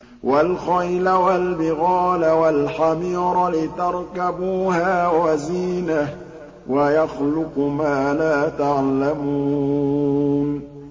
وَالْخَيْلَ وَالْبِغَالَ وَالْحَمِيرَ لِتَرْكَبُوهَا وَزِينَةً ۚ وَيَخْلُقُ مَا لَا تَعْلَمُونَ